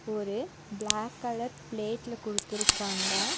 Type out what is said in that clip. ஒரு black colour பிளேட்ல குடுத்துருக்காங்க.